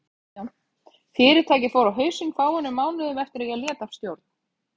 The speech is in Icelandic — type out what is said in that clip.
Fyrirtækið fór á hausinn fáeinum mánuðum eftir að ég lét af stjórn.